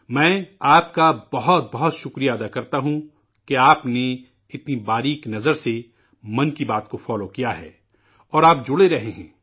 میں آپ کا بہت بہت شکریہ ادا کرتا ہوں، کہ آپ نے اتنی باریک بینی سے 'من کی بات' کو سنتے رہے ہیں اور آپ جڑے رہے ہیں